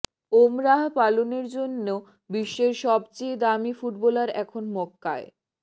ওমরাহ পালনের জন্য বিশ্বের সবচেয়ে দামী ফুটবলার এখন মক্কায়